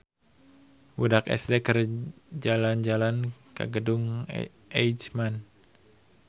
Budak SD keur jalan-jalan ka Gedung Eijkman